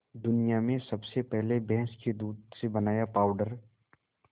दुनिया में सबसे पहले भैंस के दूध से बनाया पावडर